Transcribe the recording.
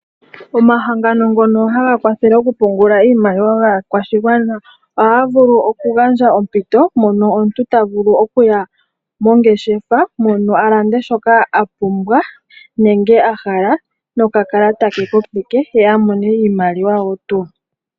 Omahangano ngono haga kwathele okupungula iimaliwa yaakwashigwana, ohaga vulu okugandja ompito mono omuntu ta vulu okuya mongeshefa mono, a lande shoka a pumbwa nenge a hala nokakalata ke kopeke ye a mone iimaliwa wo tuu.